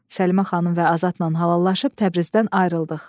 Səlimə xanım və Azadla halallaşıb Təbrizdən ayrıldıq.